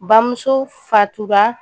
Bamuso fatura